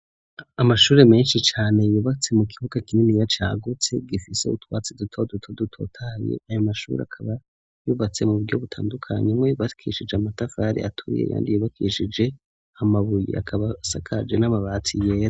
amashure menshi cane yubatse mu kibuga kinini cagutse gifise utwatsi duto duto dutotahaye ayo mashure akaba yubatse mu buryo butandukanye amwe yubakishije amatafari aturiye ayandi yubakishije amabuye akaba asakaje n'amabati yera